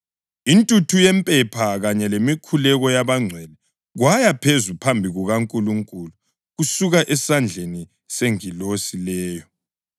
Intuthu yempepha kanye lemikhuleko yabangcwele kwaya phezulu phambi kukaNkulunkulu kusuka esandleni sengilosi leyo.